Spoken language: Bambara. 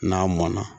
N'a mɔnna